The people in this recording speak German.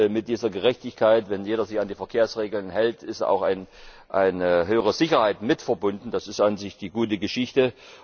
Mit dieser Gerechtigkeit, wenn jeder sich an die Verkehrsregeln hält, ist auch eine höhere Sicherheit verbunden. Das ist an sich die gute Geschichte.